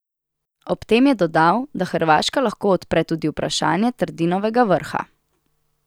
Ob tem je dodal, da Hrvaška lahko odpre tudi vprašanje Trdinovega vrha.